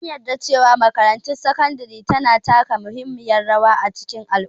An jaddada cewa makarantun sakandare na taka muhimmiyar rawa a cikin al'umma.